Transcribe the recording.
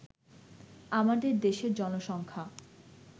আমাদের দেশের জনসংখ্যা